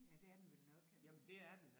Ja det er den vel nok eller